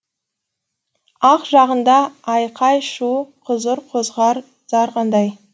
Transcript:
ақ жағында айқай шу құзыр қозғар зар қандай